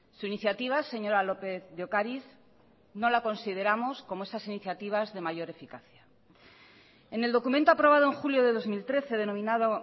su iniciativa señora lópez de ocariz no la consideramos como esas iniciativas de mayor eficacia en el documento aprobado en julio de dos mil trece denominado